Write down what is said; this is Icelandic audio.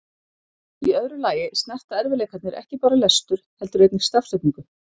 Í öðru lagi snerta erfiðleikarnir ekki bara lestur heldur einnig stafsetningu.